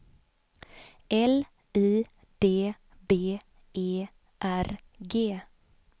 L I D B E R G